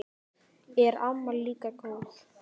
Er amma líka góð?